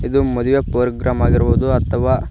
ಇದು ಮದುವೆ ಪೋರ್ಗ್ರಾಮ್ ಆಗಿರುವುದು ಅಥವಾ--